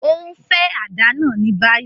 O nfe àdá náa ni bayi!